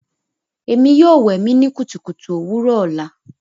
Emi yoo wẹ mi ni kutukutu owurọ ọla